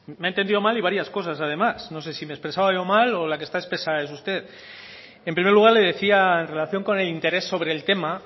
me ha entendido mal y varias cosas además no sé si me he expresado yo mal o la que esta espesa es usted en primer lugar le decía en relación con el interés sobre el tema